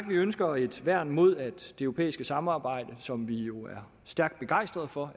vi ønsker et værn mod at det europæiske samarbejde som vi jo er stærkt begejstret for